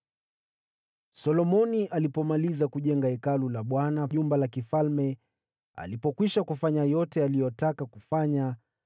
Solomoni alipomaliza kujenga Hekalu la Bwana na jumba la kifalme, alipokwisha kufanya yote aliyotaka kufanya,